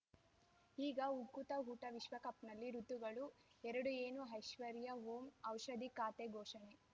ಈಗ ಉಕುತ ಊಟ ವಿಶ್ವಕಪ್‌ನಲ್ಲಿ ಋತುಗಳು ಎರಡು ಏನು ಐಶ್ವರ್ಯಾ ಓಂ ಔಷಧಿ ಖಾತೆ ಘೋಷಣೆ